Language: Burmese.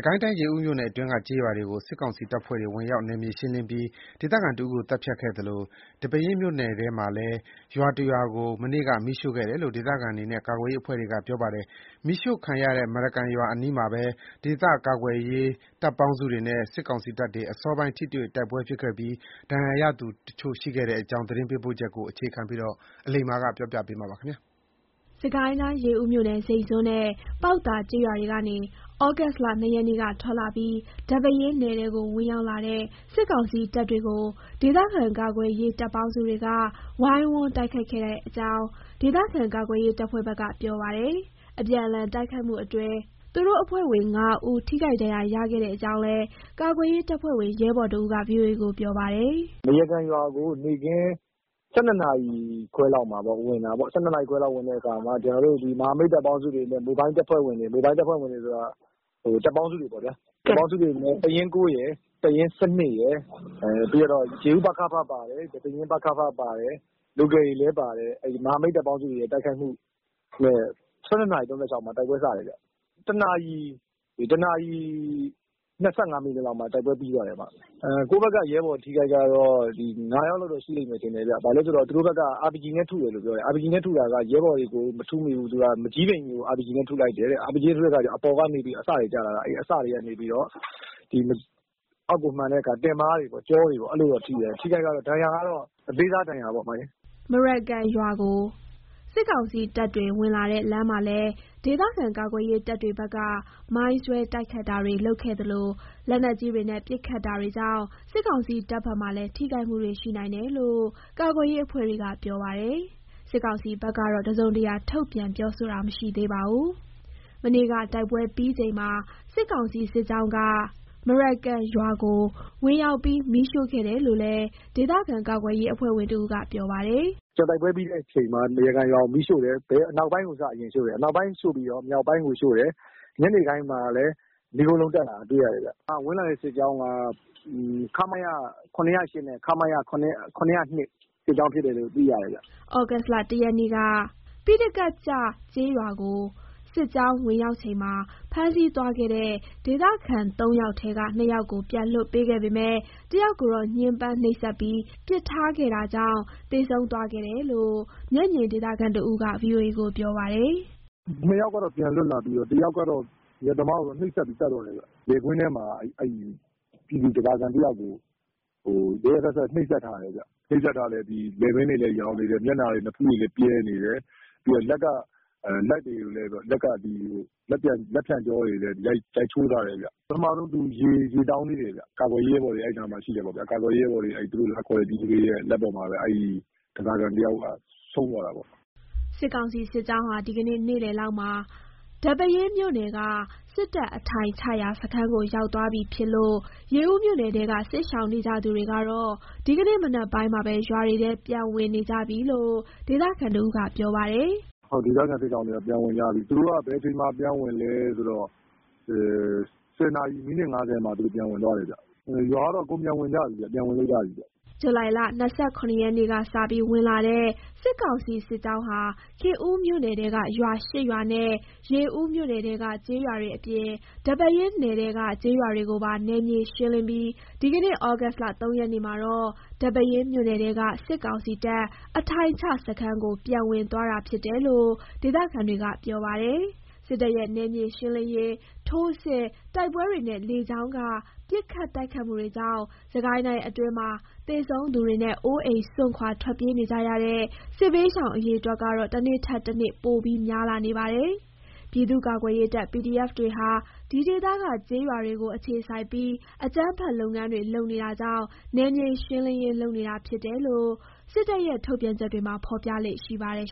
ကိုင်းတိုင်း ရေဦးမြို့နယ်အတွင်းက ကျေးရွာတွေကို စစ်ကောင်စီတပ်ဖွဲ့တွေ ဝင်ရောက် နယ်မြေရှင်းလင်းပြီး ဒေသခံတဦးကို သတ်ဖြတ်ခဲ့သလို၊ ဒီပဲယင်းနယ်ထဲမှာလည်း ရွာတရွာကို မနေ့က မီးရှို့ခဲ့တယ်လို့ ဒေသခံတွေနဲ့ ကာကွယ်ရေးအဖွဲ့တွေက ပြောပါတယ်။ မီးရှို့ခံရတဲ့ မရကန်ရွာအနီးမှာပဲ ဒေသကာကွယ်ရေး တပ်ပေါင်းစုတွေနဲ့ စစ်ကောင်စီတပ်တွေ အစောပိုင်း ထိတွေ့ တိုက်ပွဲဖြစ်ခဲ့ပြီး ထိခိုက်ဒဏ်ရာရသူ တချို့ ရှိခဲ့တဲ့အကြောင်း သတင်းပေးပို့ချက်ကို မအိသန့်စင်က တင်ပြပေးပါမယ်။ ရေဦးမြို့နယ် ဇိန့်ဇွန်းနဲ့ ပေါက်သာ ကျေးရွာတွေကနေ သြဂုတ်လ ၂ ရက်နေ့က ထွက်လာပြီး ဒီပဲယင်းနယ်ထဲကို ဝင်ရောက်လာတဲ့ စစ်ကောင်စီ တပ်တွေကို ဒေသကာကွယ်ရေး တပ်ပေါင်းစုတွေက ဝိုင်းဝန်း တိုက်ခိုက်ခဲ့ကြတဲ့အကြောင်း ဒေသခံ ကာကွယ်ရေး တပ်ဖွဲ့ဘက်က ပြောပါတယ်။ အပြန်အလှန် တိုက်ခိုက်မှုတွေအတွင်း သူတို့အဖွဲ့ဝင် ၅ ဦး ထိခိုက် ဒဏ်ရာ ရခဲ့ကြောင်းလည်း ကာကွယ်ရေးတပ်ဖွဲ့ဝင် ရဲဘော်တဦးက ဗွီအိုအေကို ပြောပါတယ်။ “မရကန်ရွာကို နေ့ခင်း ၁၂ နာရီ ခွဲလောက်မှာ ဝင်တာပေါ့။ ဝင်တဲ့အခါ မဟာမိတ် တပ်ပေါင်းစုတွေနဲ့ မိုဘိုင်းတပ်ဖွဲ့ဝင်တွေပေါ့။ တပ်ပေါင်းစုတွေနဲ့ တပ်ရင်း ၉ ရယ်၊ တပ်ရင်း ၁၂ ရယ်၊ ပြီးကျတော့ ရေဦး ပကဖ ပါတယ်။ ဒီပဲယင်းပကဖပါတယ်။ local တွေလည်း ပါတယ်။ မဟာမိတ်တပ်ပေါင်းစု တိုက်ခိုက်မှုနဲ့ ၁၂ နာရီ ၃၆ မှာ တိုက်ပွဲ စတယ်ဗျ။ ၁ နာ၇ီ ၂၅ လောက်မှာ တိုက်ပွဲပြီး သွားတယ်။ ကိုယ့်ဘက်က ရဲဘော် အထိအခိုက် ကတော့ ၅ ယောက်လောက်တော့ ရှိတယ်ဗျ။ သူတို့ဘက်က RPG နဲ့ထုတယ်။ ရဲဘော်တွေကိုတော့ မထုမိဘူး။ မန်ကျည်းပင်ကြီးကို RPG နဲ့ ထုလိုက်တယ်။ အဲ့ဒါ အပေါ်ကနေပြီးတော့ အစတွေ ကျလာတာ။ အစတွေ ကနေပြီးတော့ အောက်ကိုမှန်တဲ့အခါ တင်ပါးတွေ ကျောတွေ အဲ့လိုတော့ ထိတယ်။ အထိအခိုက် ဒဏ်ရာကတော့ အသေးစားပေါ့။” မရကန်ရွာကို စစ်ကောင်စီတပ်တွေ ဝင်လာတဲ့ လမ်းမှာလည်း ဒေသကာကွယ်ရေး တပ်တွေဘက်က မိုင်းဆွဲ တိုက်ခိုက်တာတွေ လုပ်ခဲ့သလို လက်နက်ကြီးတွေနဲ့ ပစ်ခတ်ခဲ့တာတွေကြောင့် စစ်ကောင်စီ တပ်ဘက်မှာလည်း ထိခိုက်မှုတွေ ရှိနိုင်တယ်လို့ ကာကွယ်ရေး အဖွဲ့တွေက ပြောပါတယ်။ စစ်ကောင်စီဘက်ကတော့ တစုံတရာ ထုတ်ပြန်ပြောဆိုတာ မရှိသေးပါဘူး။ မနေ့က တိုက်ပွဲပြီးချိန်မှာ စစ်ကောင်စီ စစ်ကြောင်းက မရကန်ရွာကို ဝင်ရောက်ပြီး မီးရှို့ခဲ့တယ်လို့လည်း ဒေသကာကွယ်ရေး အဖွဲ့ဝင်တဦးက ပြောပါတယ်။ “တိုက်ပွဲပြီးတဲ့အချိန်မှာ မရကန်ရွာကို မီးရှို့တယ်။ အနောက်ပိုင်းကို စပြီးရှို့တယ်။ အနောက်ပိုင်းပြီးတော့ မြောက်ပိုင်းကိုရှို့တယ်။ ညနေပိုင်းမှာလည်း မီးခိုးလုံး တက်လာတာကို တွေ့ရတယ်ဗျ။ ဝင်လာတဲ့ စစ်ကြောင်းက ခမရ ၇၀၈ နဲ့ ခမရ ၇၀၂ စစ်ကြောင်း ဖြစ်တယ်လို့ သိရတယ်ဗျ။” သြဂုတ်လ ၁ ရက်နေ့က ပိဋကတ်ကျ ကျေးရွာကို စစ်ကြောင်း ဝင်ရောက်ချိန်မှာ ဖမ်းဆီးသွားခဲ့တဲ့ ဒေသခံ ၃ ယောက်ထဲက ၂ ယောက်ကို ပြန်လွှတ်ပေးခဲ့ပေမဲ့၊ ၁ ယောက်ကိုတော့ ညှင်းပန်းနှိပ်စက်ပြီး ပစ်ထားခဲ့တာကြောင့် သေဆုံးသွားခဲ့တယ်လို့ မျက်မြင်ဒေသခံတဦးက ဗွီအိုအေကို ပြောပါတယ်။ “နှစ်ယောက်ကတော့ ပြန်လွတ်လာပြီးတော့ တယောက်ကတော့ အရက်သမားပေါ့။ သူ့ကိုတော့ နှိပ်စက်ပြီး သတ်သွားတယ်ဗျ။ လယ်ကွင်းထဲမှာ ပြည်သူ ဓားစာခံ တယောက်ကို ရက်ရက်စက်စက် နှိပ်စက်ထားတယ်ဗျ။ လည်ပင်းတွေလည်း ယောင်နေတယ်။ မျက်နှာတွေ နဖူးတွေလည်း ပြဲနေတယ်။ လက်ကလည်း လက်ဖျံရိုးတွေ ကိုလည်း ရိုက်ချိုးထားတယ်ဗျ။ ပထမဆုံး သူ ရေတောင်းသေးတယ်ဗျ။ ကာကွယ်ရေး ရဲဘော်တွေ အဲ့နားမှာ ရှိတယ်ပေါ့ဗျာ။ အဲ့နားမှာ ရှိတဲ့ ပြည်သူတွေရဲ့ လက်ပေါ်မှာပဲ ဒီတယောက် ဆုံးသွားတာပေါ့။” စစ်ကောင်စီစစ်ကြောင်းဟာ ဒီကနေ့ နေ့လယ်လောက်မှာ ဒီပဲယင်းမြို့နယ်က စစ်တပ်အထိုင်ချရာ စခန်းကို ရောက်သွားပြီ ဖြစ်လို့ ရေဦးမြို့နယ်ထဲက စစ်ရှောင်နေကြသူတွေ ကတော့ ဒီကနေ့ မနက်ပိုင်းမှာပဲ ရွာတွေထဲ ပြန်ဝင်နေကြပြီလို့ ဒေသခံတဦးက ပြောပါတယ်။ “ဒေသခံ စစ်ရှောင်တွေက ပြန်ဝင်ကြပြီ။ သူတို့က ဘယ်အချိန်မှာ ပြန်ဝင်လဲဆိုတော့ ၁၀ နာရီ မိနစ် ၅၀ လောက်ပေါ့။ အဲ့အချိန်မှာ ပြန်ဝင်ကြတယ်။ ရွာကတော့ အကုန် ပြန်ဝင်ကြပြီ ပြန်ဝင်လို့ ရပြီဗျ။” ဇူလိုင် ၂၇ ရက်နေ့က စပြီး ဝင်လာတဲ့ စစ်ကောင်စီ စစ်ကြောင်းဟာ ခင်ဦးမြို့နယ်ထဲက ရွာ ၈ ရွာနဲ့ ရေဦးမြို့နယ်ထဲက ကျေးရွာတွေ အပြင် ဒီပဲယင်း နယ်ထဲက ကျေးရွာတွေကိုပါ နယ်မြေ ရှင်းလင်းပြီး ဒီကနေ့ သြဂုတ်လ ၃ ရက်နေ့မှာတော့ ဒီပဲယင်းမြို့နယ်ထဲက စစ်ကောင်စီတပ် အထိုင်ချစခန်းကို ပြန်ဝင်သွားတာ ဖြစ်တယ်လို့ ဒေသခံတွေက ပြောပါတယ်။ စစ်တပ်ရဲ့ နယ်မြေရှင်းလင်းရေး ထိုးစစ်၊ တိုက်ပွဲတွေနဲ့ လေကြောင်းက ပစ်ခတ်တိုက်ခိုက်မှုတွေကြောင့် စစ်ကိုင်းတိုင်းအတွင်းမှာ သေဆုံးသူတွေနဲ့ အိုးအိမ် စွန့်ခွာ ထွက်ပြေးနေကြရတဲ့ စစ်ဘေးရှောင် အရေအတွက်ကတော့ တနေ့ထက်တနေ့ ပိုပြီး များလာနေပါတယ်။ ပြည်သူ့ကာကွယ်ရေးတပ် PDF တွေဟာ ဒီဒေသက ကျေးရွာတွေကို အခြေစိုက်ပြီး အကြမ်းဖက် လုပ်ငန်းတွေ လုပ်နေတာကြောင့် နယ်မြေရှင်းလင်းရေး လုပ်နေတာဖြစ်တယ်လို့ စစ်တပ်ရဲ့ ထုတ်ပြန်ချက်တွေမှာ ဖော်ပြလေ့ရှိပါတယ်